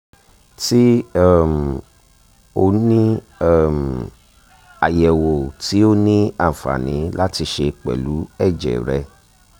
ti um o ni um ayẹwo ti o ni anfani lati ṣe pẹlu ẹjẹ rẹ